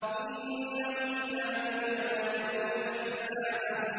إِنَّهُمْ كَانُوا لَا يَرْجُونَ حِسَابًا